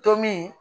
Tomin